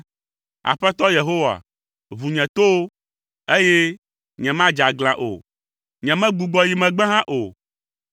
Aƒetɔ Yehowa, ʋu nye towo, eye nyemadze aglã o, nyemegbugbɔ yi megbe hã o.